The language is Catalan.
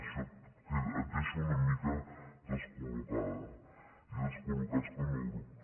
i això et deixa una mica descollocada i descol·locats com a grup